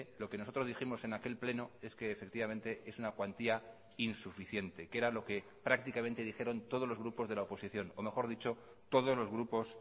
lo que nosotros dijimos en aquel pleno es que efectivamente es una cuantía insuficiente que era lo que prácticamente dijeron todos los grupos de la oposición o mejor dicho todos los grupos